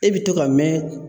E bi to ka mɛn